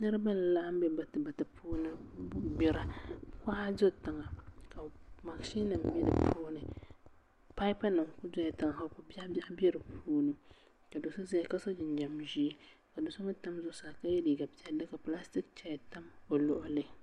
Niraba n laɣam bɛ batibati puuni n gbira kuɣa bɛ di puuni ka mashin nim bɛ dinni paipu nim dola tiŋa ka ko biɛɣu biɛɣu bɛ di puuni do so ʒɛya ka so jinjɛm ʒiɛ ka do so mii tam zuɣusaa ka yɛ liiga piɛlli ka pilastik chɛya tam o luɣuli